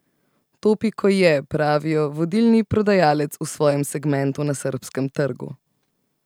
Topiko je, pravijo, vodilni prodajalec v svojem segmentu na srbskem trgu.